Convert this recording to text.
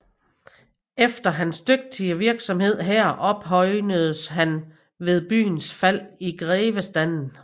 Efter hans dygtige virksomhed her ophøjedes han ved byens fald i grevestanden